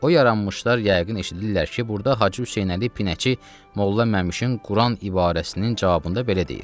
O yaranmışlar yəqin eşidirlər ki, burda Hacı Hüseynəli Pinəçi Molla Məmşin Quran ibarəsinin cavabında belə deyir: